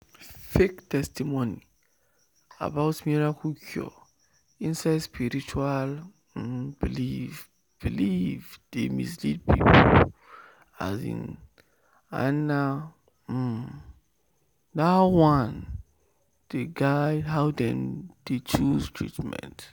fake testimony about miracle cure inside spiritual um belief belief dey mislead people um and na um that one dey guide how dem dey choose treatment."